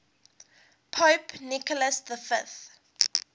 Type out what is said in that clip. pope nicholas v